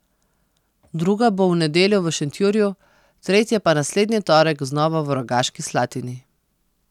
Druga bo v nedeljo v Šentjurju, tretja pa naslednji torek znova v Rogaški Slatini.